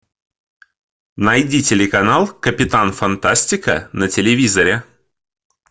найди телеканал капитан фантастика на телевизоре